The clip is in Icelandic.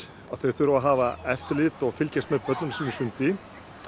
að þau þurfa að hafa eftirlit og fylgjast með börnunum sínum í sundi